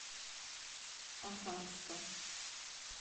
оханска